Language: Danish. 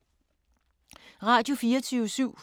Radio24syv